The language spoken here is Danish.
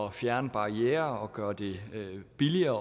at fjerne barrierer og gøre det billigere